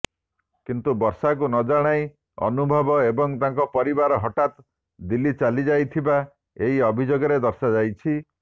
କିନ୍ତୁ ବର୍ଷାଙ୍କୁ ନଜଣାଇ ଅନୁଭବ ଏବଂ ତାଙ୍କ ପରିବାର ହଠାତ ଦିଲ୍ଲୀ ଚାଲିଯାଇଥିବା ଏହି ଅଭିଯୋଗରେ ଦର୍ଶାଯାଇଛି